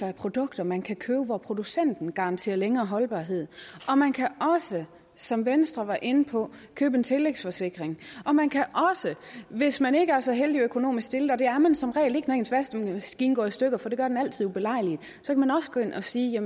af produkter man kan købe hvor producenten garanterer længere holdbarhed og man kan også som venstre var inde på købe en tillægsforsikring man kan også hvis man ikke er så heldigt økonomisk stillet og der er man som regel ikke når ens vaskemaskine går i stykker for det gør den altid ubelejligt gå ind og sige